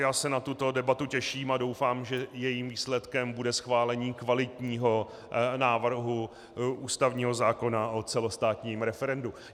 Já se na tuto debatu těším a doufám, že jejím výsledkem bude schválení kvalitního návrhu ústavního zákona o celostátním referendu.